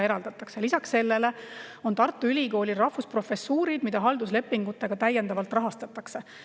Lisaks sellele on Tartu Ülikoolil rahvusprofessuurid, mida halduslepingutega täiendavalt rahastatakse.